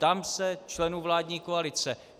Ptám se členů vládní koalice.